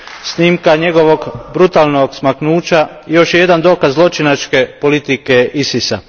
Snimka njegovog brutalnog smaknuća još je jedan dokaz zločinačke politike ISIS a.